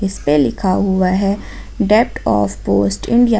इसमें लिखा हुआ है डेप्ट ऑफ पोस्ट इंडिया ।